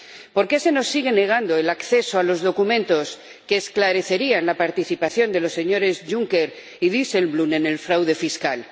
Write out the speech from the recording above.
¿Por qué se nos sigue negando el acceso a los documentos que esclarecerían la participación de los señores Juncker y Dijsselbloem en el fraude fiscal?